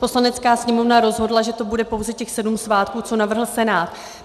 Poslanecká sněmovna rozhodla, že to bude pouze těch sedm svátků, co navrhl Senát.